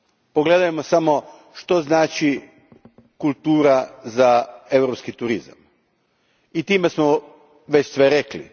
Pogledajmo samo što znači kultura za europski turizam i time smo već sve rekli.